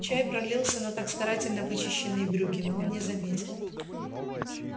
чай пролился на так старательно вычищенные брюки но он не заметил